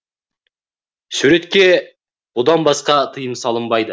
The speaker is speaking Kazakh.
суреткерге бұдан басқа тиым салынбайды